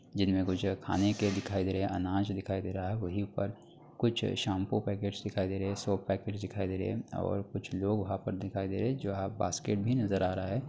जिनमे कुछ खाने के दिखाई दे रहे हैं। आनज दिखाई दे रहा है। वही पर कुछ शैम्पू पैकेट्स दिखाई दे रहे हैं। सोप पैकेट्स दिखाई दे रहे हैं और कुछ लोग वहाँ पर दिखाई दे रहे हैं जो आप बास्केट भी नजर रहा है।